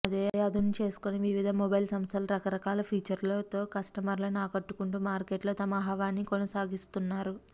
ఇదే అదును చేసుకొని వివిధ మొబైల్ సంస్థలు రకరకాల ఫీచర్లతో కస్టమర్లను ఆకట్టుకుంటూ మార్కెట్ లో తమ హవాని కొనసాగిస్తున్నారు